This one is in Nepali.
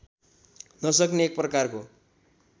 नसक्ने एक प्रकारको